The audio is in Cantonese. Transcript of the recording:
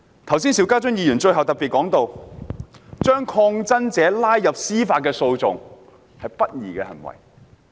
剛才邵家臻議員最後提到，把抗爭者拉入司法訴訟是不公義的行為。